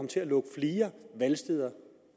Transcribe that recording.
til at lukke flere valgsteder